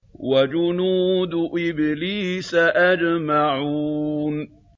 وَجُنُودُ إِبْلِيسَ أَجْمَعُونَ